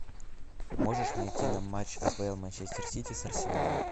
можешь найти нам матч апл манчестер сити с арсеналом